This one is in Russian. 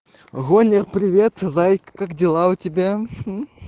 гоня привет зайка как дела у тебя